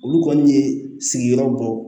Olu kɔni ye sigiyɔrɔ bɔ